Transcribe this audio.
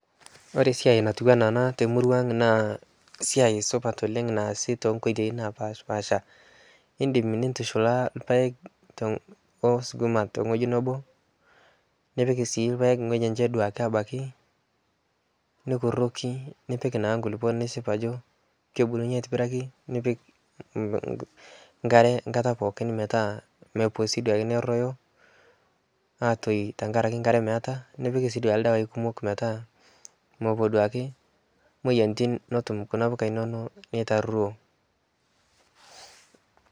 This is a good job done in our area in different ways as you can mix maize and kales in one piece of land or you can choose to plant them separately and make sure you weed and also give them enough soil coverage and ensure you water them properly to avoid drying due to lack of water and spray enough pesticides to control pests and diseases to avoid loss due to diseases.